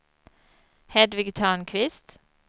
Hedvig Törnqvist